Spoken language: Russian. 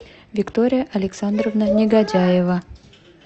виктория александровна негодяева